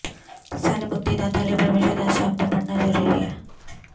ਸਾਡੇ ਮੁਕਤੀਦਾਤਾ ਲਈ ਪਰਮੇਸ਼ਰ ਦਾ ਸ਼ਬਦ ਪੜਨਾ ਜ਼ਰੂਰੀ ਹੈ